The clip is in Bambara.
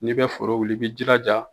N'i bɛ foro wuli i b'i jilaja